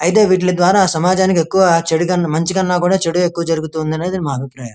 అయితే వీటి ద్వారా సమాజానికి ఎక్కువ మంచికన్నా కూడా చెడు ఎక్కువ జరుగుతుంది అనేది మా అబిప్రాయం.